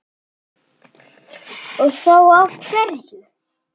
Og þá af hverju?